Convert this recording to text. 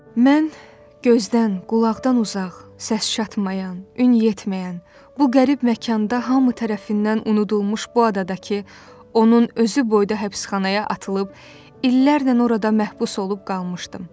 Mən gözdən, qulaqdan uzaq, səs çatmayan, ün yetməyən, bu qərib məkanda hamı tərəfindən unudulmuş bu adadakı, onun özü boyda həbsxanaya atılıb illərlə orada məhbus olub qalmışdım.